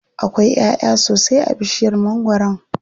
Akwai ƴaʼya sosai a bishiyar mangwaron.